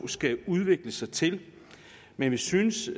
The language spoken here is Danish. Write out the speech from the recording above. skal udvikle sig til men vi synes